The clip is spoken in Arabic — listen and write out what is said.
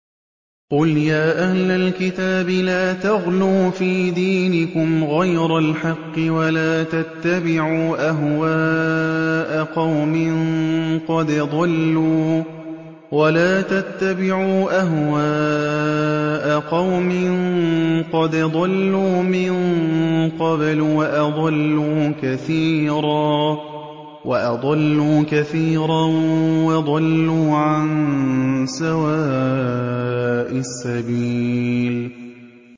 قُلْ يَا أَهْلَ الْكِتَابِ لَا تَغْلُوا فِي دِينِكُمْ غَيْرَ الْحَقِّ وَلَا تَتَّبِعُوا أَهْوَاءَ قَوْمٍ قَدْ ضَلُّوا مِن قَبْلُ وَأَضَلُّوا كَثِيرًا وَضَلُّوا عَن سَوَاءِ السَّبِيلِ